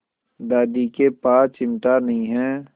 दादी के पास चिमटा नहीं है